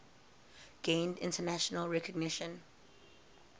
gained international recognition